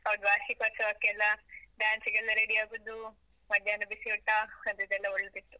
ಹೌದು, ವಾರ್ಷಿಕೋತ್ಸವಕ್ಕೆಲ್ಲ, dance ಗೆಲ್ಲಾ ರೆಡಿ ಆಗುದು ಮಧ್ಯಾಹ್ನ ಬಿಸಿ ಊಟ, ಅದಿದೆಲ್ಲಾ ಒಳ್ಳೆದಿತ್ತು.